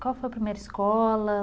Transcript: Qual foi a primeira escola?